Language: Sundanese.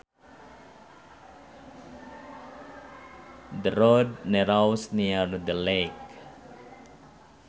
The road narrows near the lake